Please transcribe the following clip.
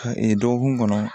dɔgɔkun kɔnɔ